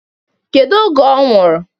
Kedu oge ọ nwụrụ?